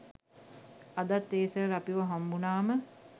අදත් ඒ සර් අපිව හම්බුනාම